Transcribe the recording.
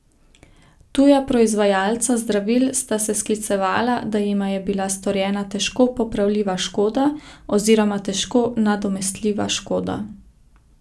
Tuja proizvajalca zdravil sta se sklicevala, da jima je bila storjena težko popravljiva škoda oziroma težko nadomestljiva škoda.